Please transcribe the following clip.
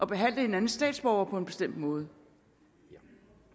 behandle hinandens statsborgere på en bestemt måde